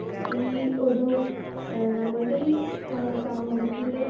speaker 2 ഈ ഒരു ഏഹ് നമ്മളുടെ ഈ ഏഹ് സമൂഹത്തില്